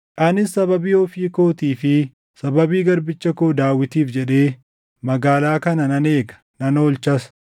Anis sababii ofii kootii fi sababii garbicha koo Daawitiif jedhee, magaalaa kana nan eega; nan oolchas.’ ”